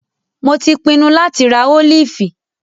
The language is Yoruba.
Mo tí pinnu láti rá ólífì.